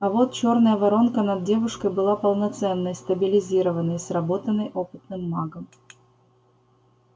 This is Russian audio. а вот чёрная воронка над девушкой была полноценной стабилизированной сработанной опытным магом